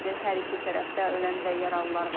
Hər iki tərəfdə ölən və yaralılar var.